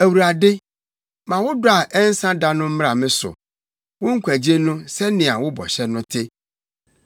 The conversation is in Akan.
Awurade, ma wo dɔ a ɛnsa da no mmra me so, wo nkwagye no, sɛnea wo bɔhyɛ no te.